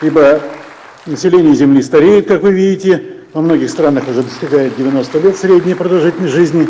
ибо население земли стареет как вы видите во многих странах уже достигает девяносто лет средняя продолжительность жизни